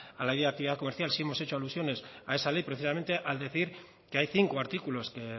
a la comercial sí hemos hecho alusiones a esa ley precisamente al decir que hay cinco artículos que